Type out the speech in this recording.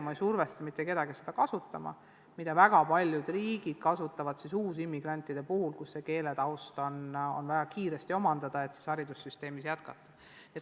Ma ei survesta mitte kedagi seda kasutama, kuigi väga paljud riigid teevad seda uusimmigrantide puhul, kui keeletaust on vaja väga kiiresti omandada, et haridussüsteemis jätkata.